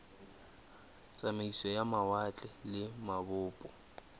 tsamaiso ya mawatle le mabopo